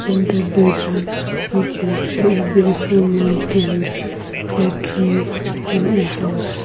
in the background we can see a beautiful mountains a tree and a house.